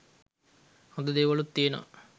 හොඳ දේවලුත් තියනවා